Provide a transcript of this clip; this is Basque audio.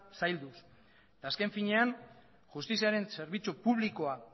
zailduz eta azken finean justiziaren zerbitzu publikoa